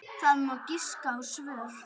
Það má giska á svör.